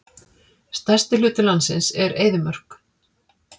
Stærsti hluti landsins er eyðimörk.